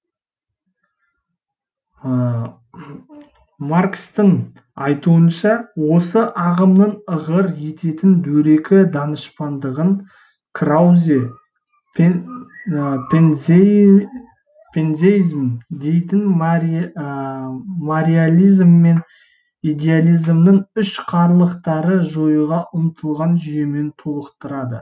маркстің айтуынша осы ағымның ығыр ететін дөрекі данышпандығын краузе пантеизм дейтіннің материализм мен идеализмнің үшқарылықтарын жоюға ұмтылған жүйемен толықтырды